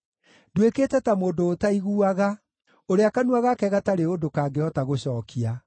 nduĩkĩte ta mũndũ ũtaiguaga, ũrĩa kanua gake gatarĩ ũndũ kangĩhota gũcookia.